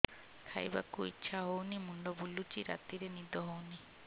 ଖାଇବାକୁ ଇଛା ହଉନି ମୁଣ୍ଡ ବୁଲୁଚି ରାତିରେ ନିଦ ହଉନି